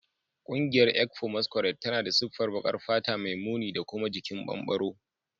Ƙungiyar ekpo masquerade tana da siffar baƙar fata mai muni da kuma jikin bambaro